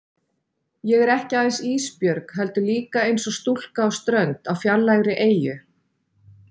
Ég er ekki aðeins Ísbjörg heldur líka einsog stúlka á strönd á fjarlægri eyju.